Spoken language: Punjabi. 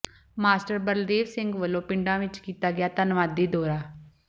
ਮਾਸਟਰ ਬਲਦੇਵ ਸਿੰਘ ਵੱਲੋ ਪਿੰਡਾਂ ਵਿੱਚ ਕੀਤਾ ਗਿਆ ਧੰਨਵਾਦੀ ਦੌਰਾ